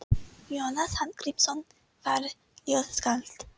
Jónas Hallgrímsson var ljóðskáld.